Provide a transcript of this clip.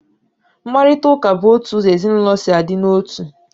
Mkparitauka bụ otu ụzọ ezinaụlọ si a dị n'otu